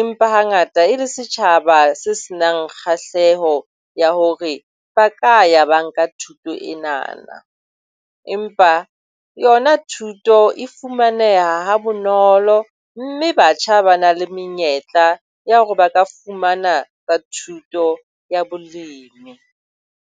empa hangata e le setjhaba se se nang kgahleho ya hore ba ka ya ba nka thuto enana. Empa yona thuto e fumaneha ha bonolo mme batjha ba na le menyetla ya hore ba ka fumana thuto ya bolemi.